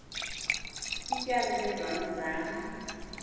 ityala lezono zam